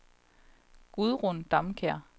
Gudrun Damkjær